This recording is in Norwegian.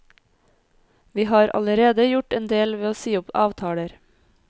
Vi har allerede gjort endel ved å si opp avtaler.